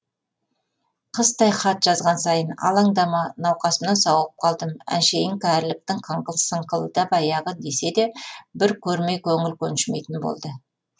қыстай хат жазған сайын алаңдама науқасымнан сауығып қалдым әншейін кәріліктің қыңқыл сыңқылы да баяғы десе де бір көрмей көңіл көншімейтін болды